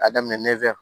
A daminɛ nɛfɛ